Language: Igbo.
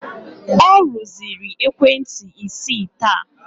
Ọ rụziri ekwentị isii taa